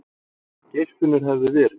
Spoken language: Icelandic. Geirfinnur hefði verið.